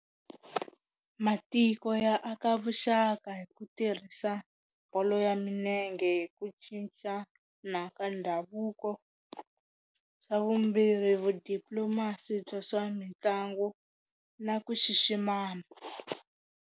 Matiko ya aka vuxaka hi ku tirhisa bolo ya minenge hi ku cincana ka ndhavuko, xa vumbirhi vu diplomas-i bya swa mitlangu na ku xiximana.